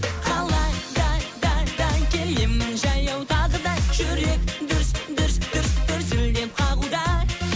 қалада да да келемін жаяу тағы да жүрек дүрс дүрс дүрс дүрсілдеп қағуда